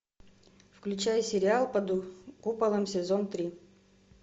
включай сериал под куполом сезон три